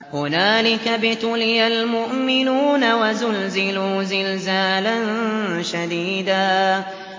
هُنَالِكَ ابْتُلِيَ الْمُؤْمِنُونَ وَزُلْزِلُوا زِلْزَالًا شَدِيدًا